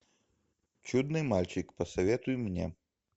чудный мальчик посоветуй мне